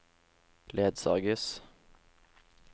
ledsages